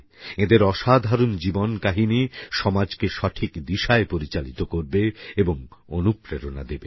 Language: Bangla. এঁদের অসাধারণ জীবনকাহিনী সমাজকে সঠিক দিশায় পরিচালিত করবে এবং অনুপ্রেরণা দেবে